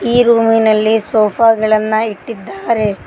ಈ ರೂಮಿನಲ್ಲಿ ಸೋಫಾ ಗಳನ್ನ ಇಟ್ಟಿದ್ದಾರೆ.